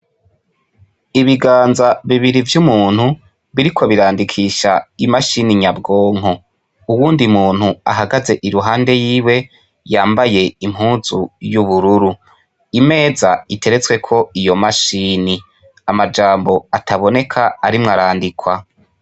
Ibiganza bibiri vy'umuntu ,biriko birandikisha imashini nya bwonko, uwundi muntu ahagaze iruhande yiwe ,yambaye impuzu y'ubururu, imeza iteretsekwo iyo mashini ,amajambo ataboneka arimwo arandikwa .